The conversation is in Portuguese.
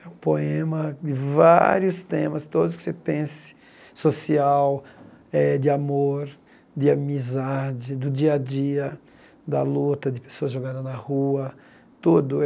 É um poema de vários temas, todos que você pense, social, eh de amor, de amizade, do dia a dia, da luta, de pessoas jogadas na rua, tudo.